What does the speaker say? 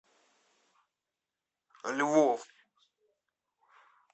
львов